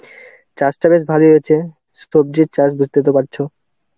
চাষটা বেশ ভালোই হয়েছে. সবজির চাষ বুঝতে তো পারছো.